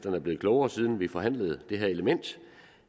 er blevet klogere siden vi forhandlede det her element